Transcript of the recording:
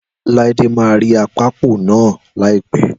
Láídé máa rí akápò náà láìpẹ́